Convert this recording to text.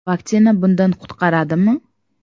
Vaksina bundan qutqaradimi?.